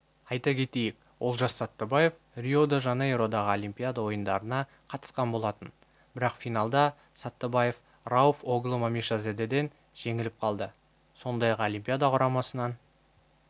айта кетейік олжас саттыбаев рио-де-жанейродағы олимпиада ойындарына қатысқан болатын бірақ финалда саттыбаев рауф оглы мамишзадеден жеңіліп қалды сондай-ақ олимпиада ойындарынан кейін саттыбаевтың